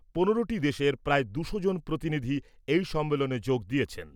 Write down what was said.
পনেরোটি দেশের প্রায় দুশো জন প্রতিনিধি এই সম্মেলনে যোগ দিয়েছেন।